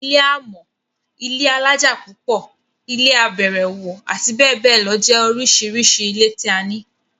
Ilé amọ́, ilé alájà pupo, ilé abẹ̀rẹ̀wọ̀, abbl jẹ́ oríṣiríṣi ilé tí a ní.